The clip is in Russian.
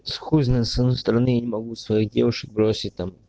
с хуй знает с одной стороны я не могу своих девушек бросить там